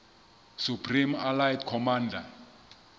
supreme allied commander